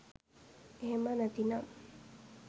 එහෙම නැති නම්